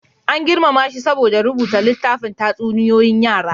An girmama shi saboda rubuta littafin tatsuniyoyin yara.